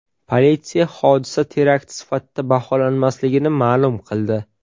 Politsiya hodisa terakt sifatida baholanmasligini ma’lum qildi.